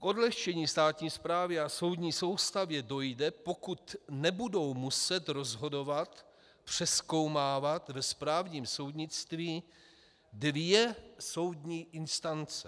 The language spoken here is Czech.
K odlehčení státní správy a soudní soustavy dojde, pokud nebudou muset rozhodovat, přezkoumávat ve správním soudnictví dvě soudní instance.